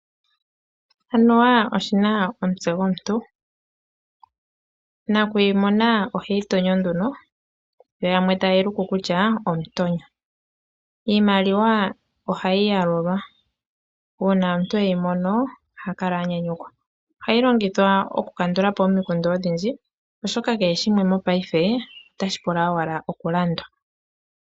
Anuwa oshi na omutse gomuntu. Nakuyimona oheyi tonyo nduno, yo yamwe taye yi luku kutya omutonyo. Iimaliwa ohayi yalulwa. Uuna omuntu e yi mono oha kala a nyanyukwa. Ohayi longithwa okukandula po omikundu odhindji, oshoka kehe shimwe otashi pula owala okulandwa.